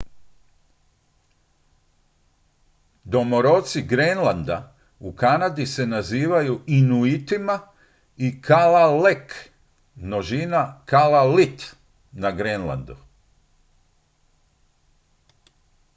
domoroci grenlanda u kanadi se nazivaju inuitima i kalaalleq množina kalaallit na grenlandu